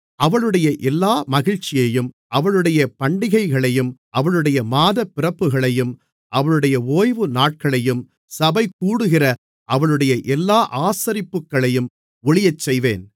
அவளுடைய எல்லா மகிழ்ச்சியையும் அவளுடைய பண்டிகைகளையும் அவளுடைய மாதப்பிறப்புகளையும் அவளுடைய ஓய்வுநாட்களையும் சபைகூடுகிற அவளுடைய எல்லா ஆசரிப்புகளையும் ஒழியச்செய்வேன்